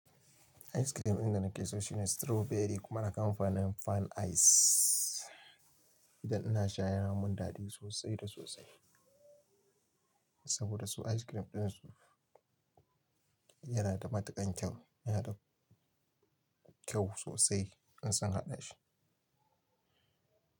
Ice cream ina nake so shine strawberry kuma na kamfanin Fun Ice. Idan ina sha yana mun dadi sosai da sosai saboda su ice cream ɗinsu yana da matuƙan kyau, yana da kyau sosai in sun haɗa shi.